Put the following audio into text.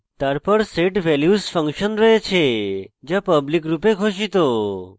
তারপর set _ values function রয়েছে যা public রূপে ঘোষিত